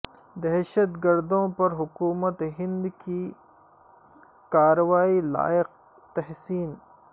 دہشت گردوں پر حکومت ہند کی کا روائی لائق تحسین